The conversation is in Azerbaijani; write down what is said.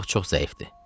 Uşaq çox zəifdir.